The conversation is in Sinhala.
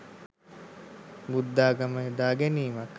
බුද්ධාගම යොදා ගැනීමක්.